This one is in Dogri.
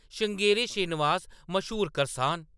श्रृंगेरी श्रीनिवास, मश्हूर करसान ।